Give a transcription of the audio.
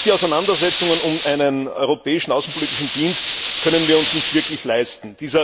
Auch die Auseinandersetzungen um einen Europäischen Auswärtigen Dienst können wir uns nicht wirklich leisten.